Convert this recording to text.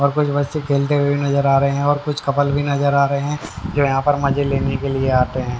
और कुछ बच्चे खेलते हुए भी नजर आ रहे हैंऔर कुछ कपल भी नजर आ रहे हैं जो यहां पर मजे लेने के लिए आते हैं।